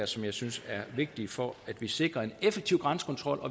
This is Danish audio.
som jeg synes er vigtige for at vi sikrer en effektiv grænsekontrol og